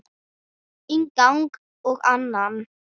Inn gang og annan.